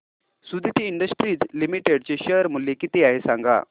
Suditi industries limited चे share मूल्य किती आहे सांगा